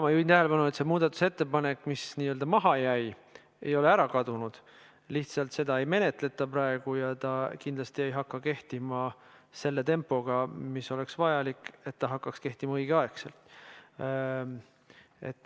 Ma juhin tähelepanu, et see muudatusettepanek, mis n-ö maha jäi, ei ole ära kadunud, vaid seda lihtsalt ei menetleta praegu sellise tempoga, mis oleks vajalik, et ta hakkaks kehtima õigeaegselt.